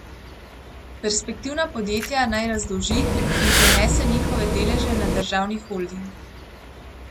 Perspektivna podjetja naj razdolži in prenese njihove deleže na državni holding.